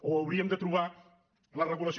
o hauríem de trobar la regulació